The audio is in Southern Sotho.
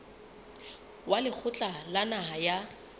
wa lekgotla la naha la